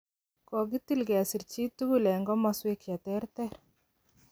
Kogitil ng'esir chiitugul en komoswek cheterter.